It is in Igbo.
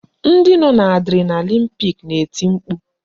Ndị nọ n'Adrenalin pik na-eti mkpu